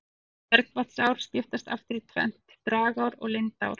Bergvatnsár skiptast aftur í tvennt, dragár og lindár.